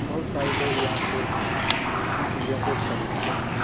बहुत सारे लोग यहां से इन चीजों को खरीदते हैं।